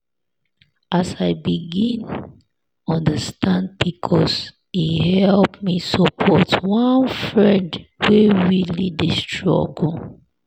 as i begin understand pcos e help me support one friend wey really dey struggle.